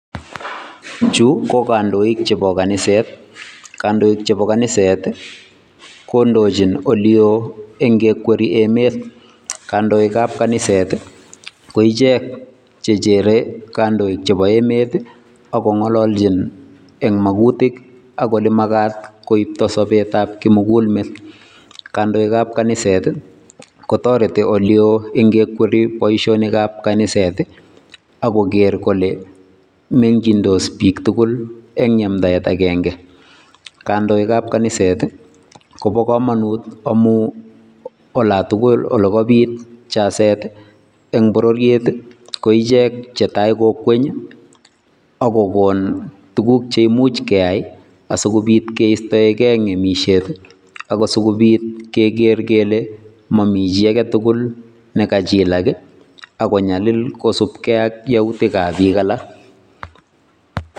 Chu ko kandoik chebo kanisetab katholik, kandoik chebo kaniset kondochin olewoo ingikweny emet. Kandoik ab kaniset koichek chechere kondoik chemo emet I,akongololchin en makuutik ak olemakaat koibto sobetab kimugul meet. Kandoik ab kaniset kotoretii ole woo ongekwiriii emet ak kogeer kole mengyindos biik tugul eng yamdaet agenge. Kandoik ab kaniset I kobo komonut ngamun olantugul ole kaabit jazeet en bororiet I koichek chetai cheyoche kongweny. Akokon tuguk cheimuch keyaai asikobiit keistoegee ngemisiet asikobiit kekeer kele mamichi agetugul nekachilak ak konyalil kosiibge ak yautik ab biik alak.